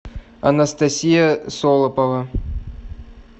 анастасия солопова